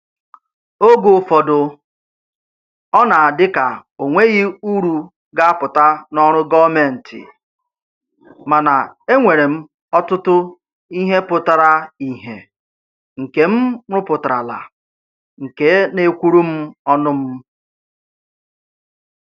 Oge ụfọdụ, ọ na-adị ka o nweghị uru ga-apụta n'ọrụ gọọmentị, mana e nwere m ọtụtụ ihe pụtara ihe nke m rụpụtarala nke na-ekwuru m ọnụ m